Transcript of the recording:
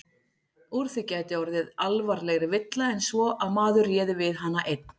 Úr því gæti orðið alvarlegri villa en svo að maður réði við hana einn.